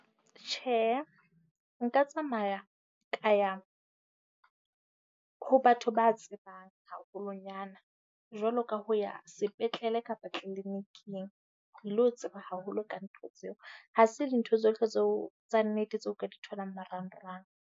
Tjhe, nka tsamaya ka ya ho batho ba tsebang haholwanyana jwalo ka ho ya sepetlele kapa clinic-ing ho ilo tseba haholo ka ntho tseo. Ha se dintho tsohle tseo tsa nnete tseo o ka di tholang marangrang.